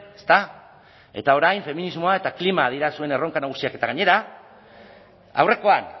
ezta eta orain feminismoa eta klima dira zuen erronka nagusiak eta gainera aurrekoan